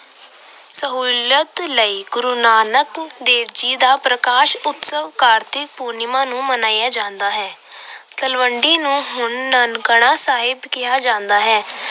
ਸਹੂਲਤ ਲਈ ਗੁਰੂ ਨਾਨਕ ਦੇਵ ਜੀ ਦਾ ਪ੍ਰਕਾਸ਼ ਉਤਸਵ ਕਾਤ੍ਰਿਕ ਪੂਰਨਿਮਾ ਨੂੰ ਮਨਾਇਆ ਜਾਂਦਾ ਹੈ। ਤਲਵੰਡੀ ਨੂੰ ਹੁਣ ਨਨਕਾਣਾ ਸਾਹਿਬ ਕਿਹਾ ਜਾਂਦਾ ਹੈ।